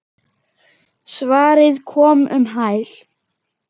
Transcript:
Svarið kom um hæl.